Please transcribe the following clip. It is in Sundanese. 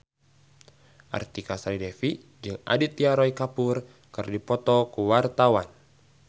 Artika Sari Devi jeung Aditya Roy Kapoor keur dipoto ku wartawan